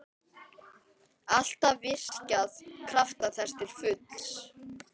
Alltaf virkjað krafta þess til fulls.